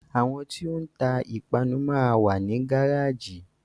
Àwọn tí o ń ta ìpanu máa wà ní gáràjì.